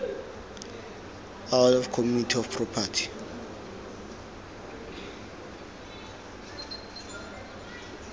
out of community of property